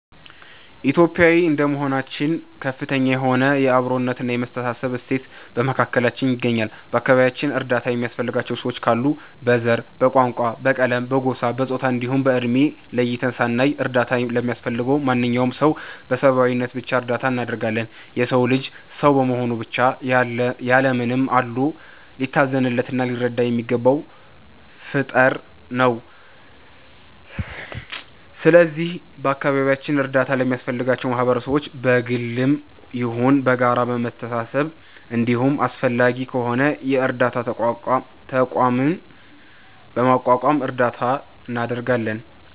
ኢትዮጲያዊ እንደመሆናችን ከፍተኛ የሆነ የ አብሮነት እና የመተሳሰብ እሴት በመካከላችን ይገኛል። በ አከባቢያችን እርዳታ የሚያስፈልጋቸው ሰዎች ካሉ በ ዘር፣ በቋንቋ፣ በቀለም፣ በጎሳ፣ በፆታ እንዲሁም በ እድሜ ለይተን ሳናይ እርዳታ ለሚያስፈልገው ማንኛውም ሰው በ ሰብዓዊነት ብቻ እርዳታ እናደርጋለን። የ ሰው ልጅ ሰው በመሆኑ ብቻ ያለ ምንም አድሎ ሊታዘንለት እና ሊረዳ የሚገባው ፍጠር ነው። ስለዚህ በ አካባቢያችን እርዳታ ለሚያስፈልጋቸው ማህበረሰቦች በ ግልም ይሁን በጋራ በመሰባሰብ እንዲሁም አስፈላጊ ከሆነ የ እርዳታ ተቋምም በማቋቋም እርዳታ እናደርጋለን።